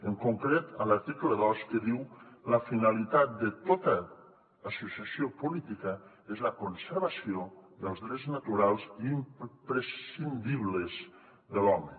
en concret en l’article dos que diu la finalitat de tota associació política és la conservació dels drets naturals i imprescindibles de l’home